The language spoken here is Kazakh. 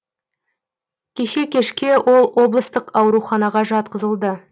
кеше кешке ол облыстық ауруханаға жатқызылды